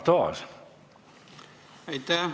Aitäh!